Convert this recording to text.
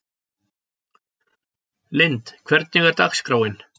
Lynd, hvernig er dagskráin?